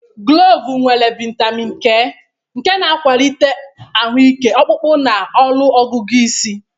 Gulovu nwere vitamin K, nke na-akwalite ahụ ike ọkpụkpụ na ọrụ ọgụgụ isi.